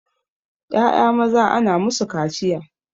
Ƴaƴa maza ana musu kaciya